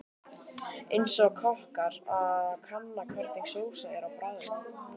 Eins og kokkur að kanna hvernig sósa er á bragðið.